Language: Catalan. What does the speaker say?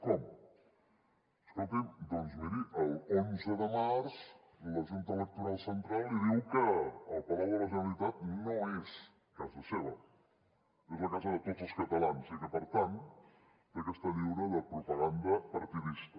com escolti’m doncs miri l’onze de març la junta electoral central li diu que el palau de la generalitat no és casa seva és la casa de tots els catalans i que per tant ha d’estar lliure de propaganda partidista